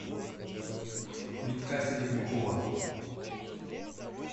витька серебрякова